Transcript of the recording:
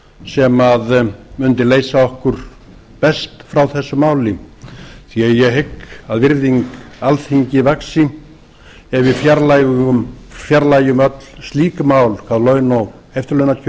sú lausn sem mundi leysa okkur best frá þessu máli því að ég hygg að virðing alþingis vaxi ef við fjarlægjum öll slík mál hvað laun og eftirlaunakjör